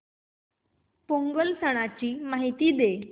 पोंगल सणाची माहिती दे